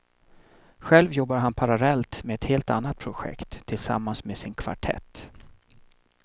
Själv jobbar han parallellt med ett helt annat projekt, tillsammans med sin kvartett.